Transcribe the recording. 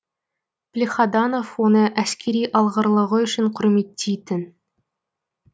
плехаданов оны әскери алғырлығы үшін құрметтейтін